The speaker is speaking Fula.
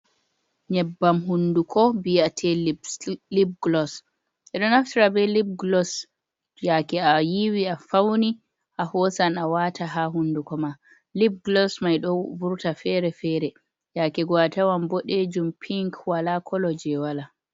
Nyebbam hunduko biyate lip glos eɗo naftara be lib glos yake a yiwi a fauni ahosan a wata ha hunduko ma, lip glos mai ɗon vurta fere-fere yake go atawan bode jum pin wala ko wala.